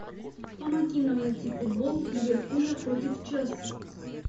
помоги нам найти футбол ливерпуля против челси